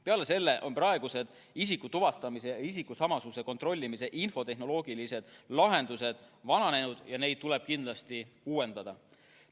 Peale selle on praegused isikutuvastamise ja isikusamasuse kontrollimise infotehnoloogilised lahendused vananenud ja neid tuleb kindlasti uuendada.